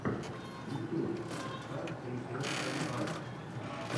ютьюб сас эй эс эм ар